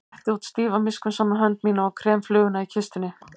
Og ég rétti út stífa miskunnsama hönd mína og krem fluguna í kistunni.